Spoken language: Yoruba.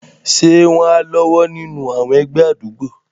Ṣé wọ́n á lọ́wọ́ nínú àwọn ẹgbẹ́ àdúgbò?